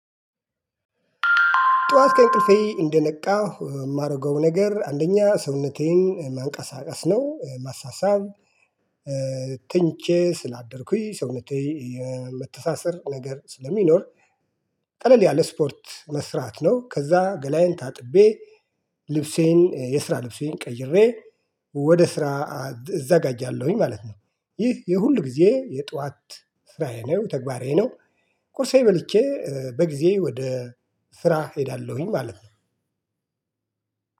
ጠዋት ከእንቅልፌ እንደነቃሁ እ ማረገው ነገር አንደኛ ሰውነቴ ማንቀሳቀስ ነው። ማሳሰብ ተኝቼ ስላደርኩኝ ሰውነቴ የመተሳሰር ነገር ስለሚኖር ቀለል ያለ ስፖርት መስራት ነው። ከዛ ገላዬን ታጥቤ ልብሴን፣ የስራ ልብሴን ቀይሬ ወደ ስራ እዘጋጃለሁኝ ማለት ነው። ይህ የሁል ጊዜ የጠዋት ስራዬ ነው፤ ተግባሬ ነው። ቁርሴ በልቼ እ በጊዜ ወደ ስራ ሄዳለሁኝ ማለት ነው።